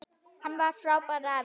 Hann var frábær afi.